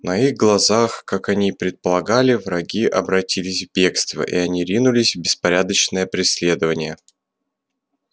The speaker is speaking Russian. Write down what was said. на их глазах как они и предполагали враги обратились в бегство и они ринулись в беспорядочное преследование